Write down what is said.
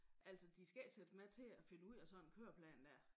Altså de skal ikke sætte mig til at finde ud af sådan en køreplan dér